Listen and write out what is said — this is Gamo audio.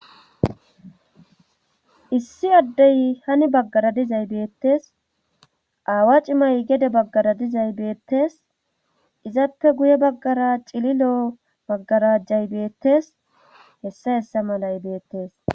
Issi addee hi ni baggara dizay beettes. Aawa cimay gede baggara dizay beettes. Izappe guye baggara cililoo maggarajay beettees. hessa hessa malay beettes.